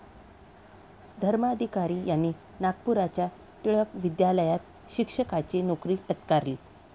धर्माधिकारी यांनी नागपूरच्या टिळक विद्यालयात शिक्षकाची नोकरी पत्करली.